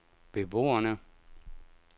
beboerne